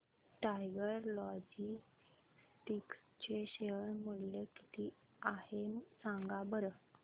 tiger Logistics चे share मूल्य किती आहे सांगा बरं